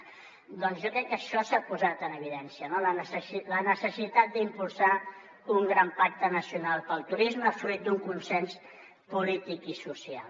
doncs jo crec que això s’ha posat en evidència no la necessitat d’impulsar un gran pacte nacional pel turisme fruit d’un consens polític i social